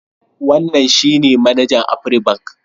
Wannan shi ne manajan Afribank.